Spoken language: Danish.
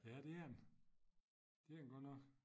Ja det er den det er den godt nok